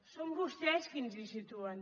són vostès qui ens hi situen